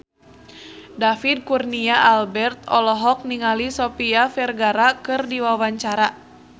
David Kurnia Albert olohok ningali Sofia Vergara keur diwawancara